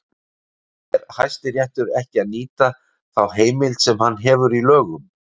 Er Hæstiréttur ekki að nýta þá heimild sem hann hefur í lögum?